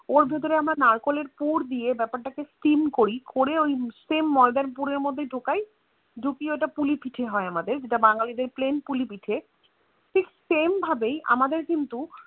ওর ভেতরে আমরা নারকোলের পুর দিয়ে বেপার তা কে Steam করি করে ওই Same ময়দা পুর এর মধ্যেই ঢোকাই ওটা পিলি পিঠে হয়ে আমাদের যেটা Plain পুলি পিঠে ঠিক Same ভাবে আমাদের কিন্তু